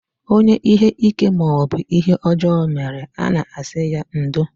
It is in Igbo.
Onye ihe ike maọbụ ihe ọjọọ mere, a na-asị ya ndo